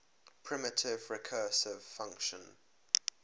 primitive recursive function